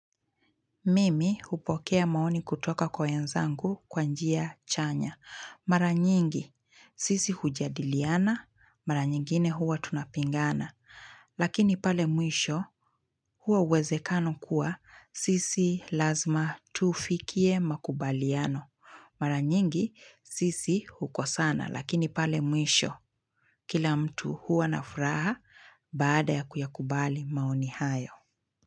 Mimi upokea maoni kutoka kwa wenzangu kwa njia chanya. Mara nyingi, sisi hujadiliana, mara nyingine huwa tunapingana. Lakini pale mwisho, huwa uwezekano kuwa, sisi lazima tufikie makubaliano. Mara nyingi, sisi hukosana, lakini pale mwisho, kila mtu huwa na furaha baada ya kuyakubali maoni hayo.